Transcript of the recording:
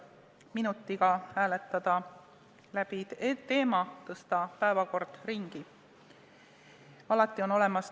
Minutiga hääletada teema läbi, tõsta päevakord ringi!